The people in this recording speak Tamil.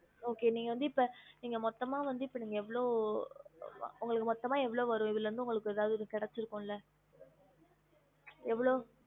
Okay நீங்க வந்து இப்ப நீங்க மொத்தம்மா வந்து இப்ப நீங்க எவ்ளோ உங்களுக்கு மொத்தம்மா எவ்ளோ வரும் இதுல இருந்து உங்களுக்கு எதாவது கிடைச்சிருக்கும்ல எவ்ளோ